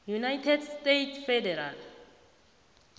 united states federal